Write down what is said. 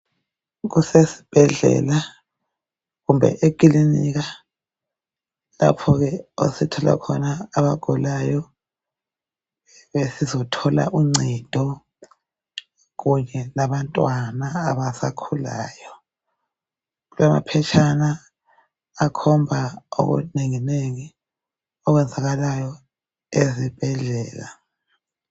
Kusesibhedlela kumbe ekilinika lapho ke esithola khona abagulayo bezothola uncedo kunye labantwana abasakhulayo, kulamaphetshana akhomba okunengi nengi okwenzakalayo ezibhedlela.